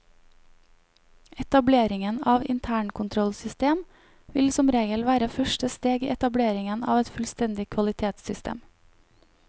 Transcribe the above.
Etableringen av internkontrollsystem vil som regel være første steg i etableringen av et fullstendig kvalitetssystem.